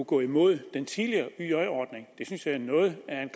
går imod den tidligere yj ordning det synes jeg er noget af en